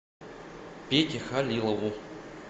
пете халилову